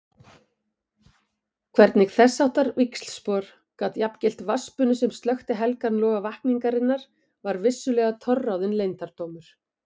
Hvernig þessháttar víxlspor gat jafngilt vatnsbunu sem slökkti helgan loga vakningarinnar var vissulega torráðinn leyndardómur.